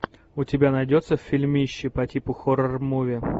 у тебя найдется фильмище по типу хоррор муви